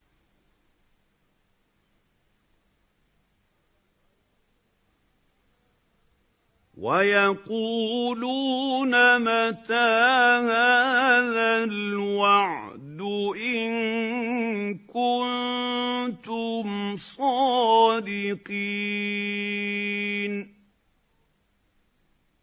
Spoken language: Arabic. وَيَقُولُونَ مَتَىٰ هَٰذَا الْوَعْدُ إِن كُنتُمْ صَادِقِينَ